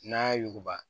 N'a yuguba